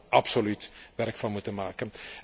Daar zouden we absoluut werk van moeten maken.